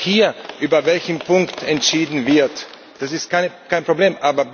Ich sehe es auch hier, über welchen Punkt entschieden wird, das ist kein Problem.